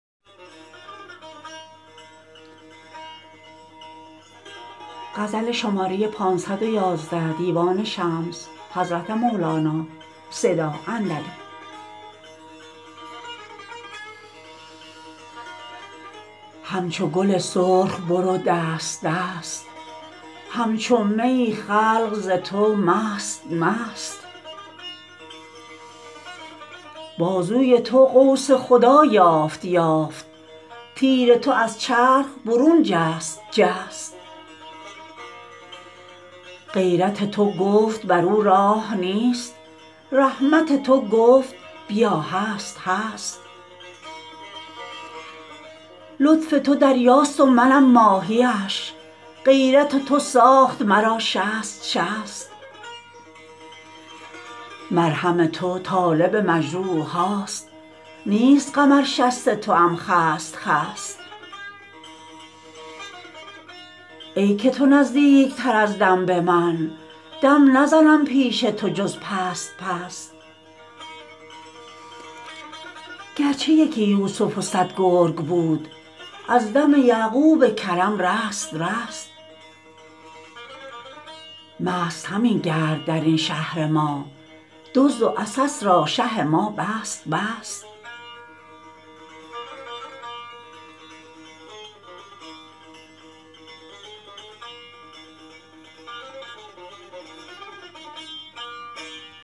همچو گل سرخ برو دست دست همچو می ای خلق ز تو مست مست بازوی تو قوس خدا یافت یافت تیر تو از چرخ برون جست جست غیرت تو گفت برو راه نیست رحمت تو گفت بیا هست هست لطف تو دریاست و منم ماهی اش غیرت تو ساخت مرا شست شست مرهم تو طالب مجروح هاست نیست غم ار شست توام خست خست ای که تو نزدیک تر از دم به من دم نزنم پیش تو جز پست پست گرچه یکی یوسف و صد گرگ بود از دم یعقوب کرم رست رست مست همه گرد در این شهر ما دزد و عسس را شه ما بست بست